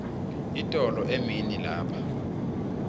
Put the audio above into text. itolo emini lapha